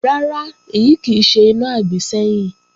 Rárá, èyí kì í ṣe iná àgbésẹ́yìn